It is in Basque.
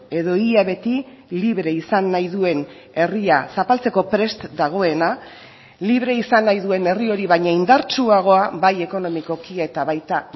edo ia beti libre izan nahi duen herria zapaltzeko prest dagoena libre izan nahi duen herri hori baina indartsuagoa bai ekonomikoki eta baita